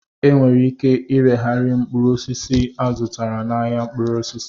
E nwere ike ireghari mkpụrụ osisi azutara n'ahịa mkpụrụ osisi